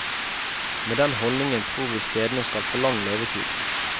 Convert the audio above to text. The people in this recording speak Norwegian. Med den holdningen tror vi stedene skal få lang levetid.